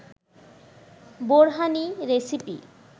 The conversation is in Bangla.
বোরহানি রেসিপি